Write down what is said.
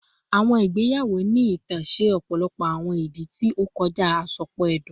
Awọn igbeyawo ni itan ṣe ọpọlọpọ awọn idi ti o kọja asopọ ẹdun